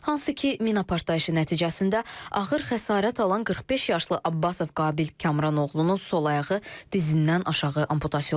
Hansı ki, mina partlayışı nəticəsində ağır xəsarət alan 45 yaşlı Abbasov Qabil Kamran oğlunun sol ayağı dizindən aşağı amputasiya olundu.